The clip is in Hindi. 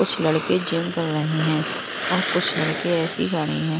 कुछ लड़के जिम कर रहे हैं और कुछ लड़के ऐसे खड़े हैं।